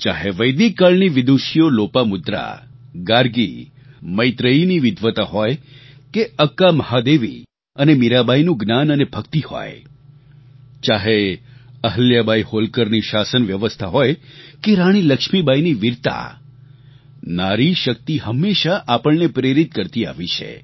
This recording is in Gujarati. ચાહે વૈદિક કાળની વિદૂષીઓ લોપામુદ્રા ગાર્ગી મૈત્રેયીની વિદ્વતા હોય કે અક્કા મહાદેવી અને મીરાબાઈનું જ્ઞાન અને ભક્તિ હોય ચાહે અહલ્યાબાઈ હોલકરની શાસન વ્યવસ્થા હોય કે રાણી લક્ષ્મીબાઈની વીરતા નારી શક્તિ હંમેશાં આપણને પ્રેરિત કરતી આવી છે